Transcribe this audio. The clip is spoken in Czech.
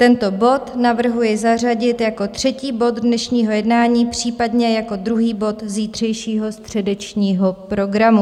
Tento bod navrhuji zařadit jako třetí bod dnešního jednání, případně jako druhý bod zítřejšího středečního programu.